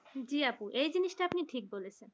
জি আপু এই জিনিসটা আপনি ঠিকই বলেছেন ।